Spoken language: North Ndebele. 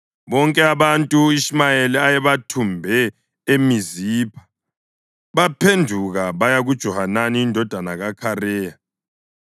Bonke abantu u-Ishumayeli ayebathumbe eMizipha baphenduka baya kuJohanani indodana kaKhareya.